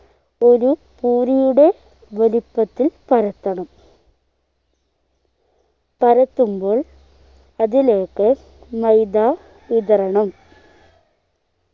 ഒരു പൂരിയുടെ വലിപ്പത്തിൽ പരത്തണം പരത്തുമ്പോൾ അതിലേക്ക് മൈദ വിതറണം